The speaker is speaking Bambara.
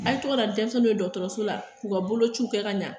A ye tɔgɔ na ni denmisɛnninw ye dɔgɔtɔrɔso la k'u ka bolo ci kɛ ka ɲa.